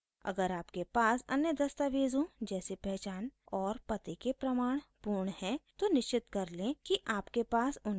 अगर आपके पास अन्य दस्तावेज़ों जैसे पहचान और पते के प्रमाण पूर्ण हैं तो निश्चित कर लें कि आपके पास उनकी कॉपी हो